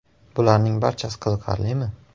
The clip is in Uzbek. Bularning barchasi qiziqarlimi?